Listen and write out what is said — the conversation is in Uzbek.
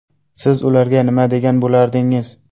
Siz ularga nima degan bo‘lardingiz?